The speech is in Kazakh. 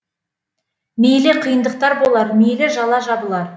мейлі қиындықтар болар мейлі жала жабылар